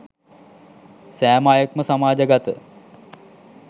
සෑම අයෙක් ම සමාජගත